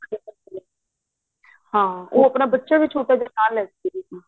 ਹਾਂ ਉਹ ਆਪਣਾਂ ਬੱਚਾ ਵੀ ਛੋਟਾ ਜਾਂ ਨਾਲ ਲੈਕੇ ਆਏ ਸੀ